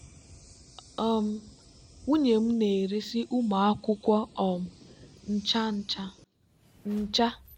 um nwunye m na-eresị ụmụ akwụkwọ um ncha ncha. ncha.